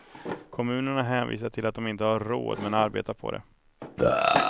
Kommunerna hänvisar till att de inte har råd men arbetar på det.